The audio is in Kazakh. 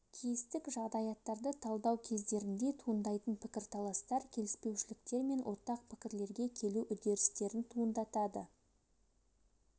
кейістік жағдаяттарды талдау кездерінде туындайтын пікірталастар келіспеушіліктер мен ортақ пікірлерге келу үдерістерін туындатады